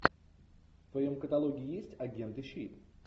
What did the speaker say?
в твоем каталоге есть агенты щит